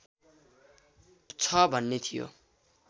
छ भन्ने थियो